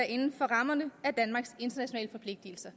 inden for rammerne af danmarks internationale forpligtelser